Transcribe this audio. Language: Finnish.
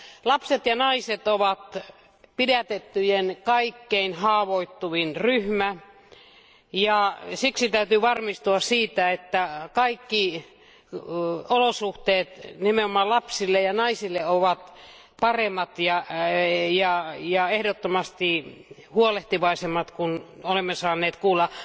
Lapset ja naiset ovat pidätettyjen kaikkein haavoittuvin ryhmä, ja siksi täytyy varmistua siitä, että kaikki olosuhteet nimenomaan lapsille ja naisille ovat paremmat ja ehdottomasti huolehtivaisemmat kuin mitä olemme saaneet kuulla.